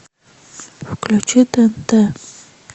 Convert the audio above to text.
включи тнт